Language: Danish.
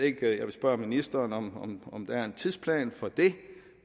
spørge ministeren om om der er en tidsplan for det